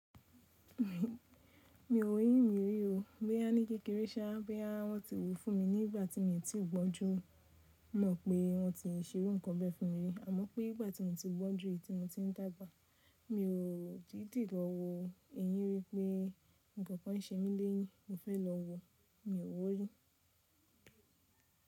Mi, mi ò wo eyín mí rí o. Bí a ní kékeré sáa bí a wọ́n ti wòó fún mi nígbà tí mi ti gbọ́njú, mọ̀ pé wọ́n ti ń ṣe irú nǹkan bẹ́ẹ̀ fún mi. Àmọ́ pé nígbà tí mo ti gbọ́njú i ti mo ti ń dàgbà, mi ò didì lo wo eyín rí pé nǹkan kan ń ṣe mí léyín, mo fẹ́ lọ wo, mi ò wọ́ rí.